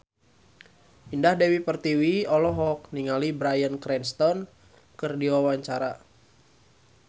Indah Dewi Pertiwi olohok ningali Bryan Cranston keur diwawancara